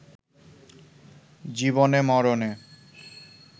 জীবনে-মরণে